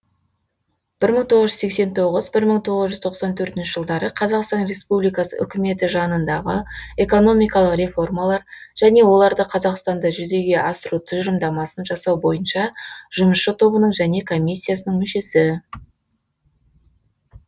бір мың тоғыз жүз сексен тоғыз бір мың тоғыз жүз тоқсан төртінші жылдары қазақстан республикасы үкіметі жанындағы экономикалық реформалар және оларда қазақстанда жүзеге асыру тұжырымдамасын жасау бойынша жұмысшы тобының және комиссиясын мүшесі